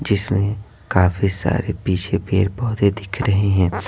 जिसमें काफी सारे पीछे पेर - पौधे दिख रहे हैं।